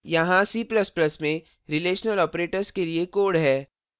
यहाँ c ++ में relational operators के लिए code है